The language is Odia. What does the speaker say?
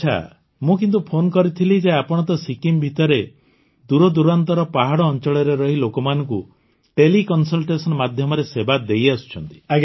ଆଚ୍ଛା ମୁଁ କିନ୍ତୁ ଫୋନ୍ କରିଥିଲି ଯେ ଆପଣ ତ ସିକିମ୍ ଭିତରେ ଦୂର ଦୂରାନ୍ତର ପାହାଡ଼ ଅଞ୍ଚଳରେ ରହି ଲୋକମାନଙ୍କୁ ତେଲେ କନସଲଟେସନ ମାଧ୍ୟମରେ ସେବା ଦେଇଆସୁଛନ୍ତି